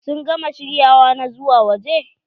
Sun gama shiryawa na zuwa waje?